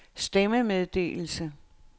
stemmemeddelelse